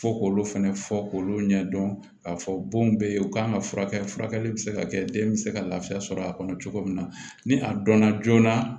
Fo k'olu fɛnɛ fɔ k'olu ɲɛdɔn k'a fɔ bon bɛ yen u kan ka furakɛ furakɛli bɛ se ka kɛ den bɛ se ka lafiya sɔrɔ a kɔnɔ cogo min na ni a dɔnna joona